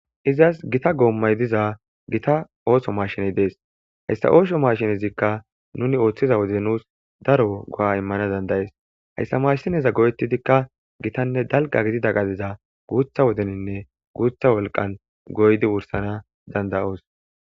Izas gita goommay diza gita ooso masheney dees hayssa ooso mashinezikka nuni ooththiza wode nuus daro go'a immana dandayees hayssa maashsineza go'etidikka gitanne dalga gidida qadiza guutha wodeninne guutha wolqan goydi wursana dandayoos